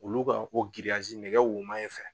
Olu ka fo nɛgɛ woman in fɛ